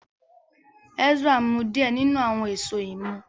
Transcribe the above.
Ezra mu diẹ ninu awọn Èṣó imú.